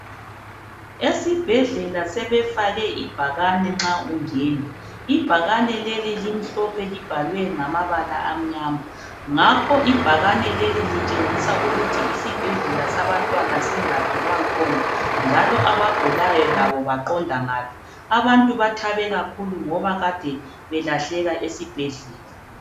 Esibhedlela sebefake ibhakane nxa ungena ibhakane leli limhlophe libhalwe ngamabala amnyama ngakho ibhakani leli litshengisa ukuthi isibhedlela sabantwana singaphi kwakhona njalo abagulayo labo baqonda ngaphi abantu bathabe kakhulu ngoba kade belahleka esibhedlela.